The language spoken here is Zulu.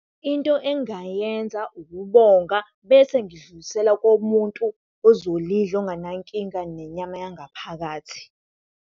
Into engingayenza ukubonga bese ngidlulisela komuntu ozolidla ongana nkinga nenyama yangaphakathi.